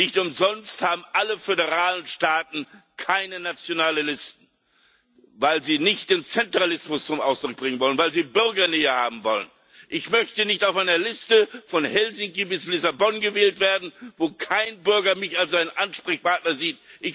Nicht umsonst haben alle föderalen Staaten keine nationalen Listen, weil sie nicht den Zentralismus zum Ausdruck bringen wollen, weil sie Bürgernähe haben wollen. Ich möchte nicht auf einer Liste von Helsinki bis Lissabon gewählt werden, wo kein Bürger mich als seinen Ansprechpartner sieht.